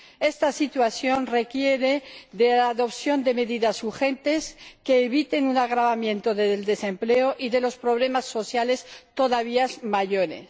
Esta situación requiere la adopción de medidas urgentes que eviten un agravamiento del desempleo y unos problemas sociales todavía mayores.